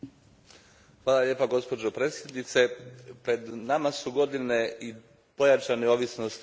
Gospođo predsjednice, pred nama su i godine pojačane ovisnosti o uvozu plina.